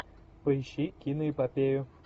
поищи киноэпопею